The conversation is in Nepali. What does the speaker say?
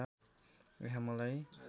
यहाँ मलाई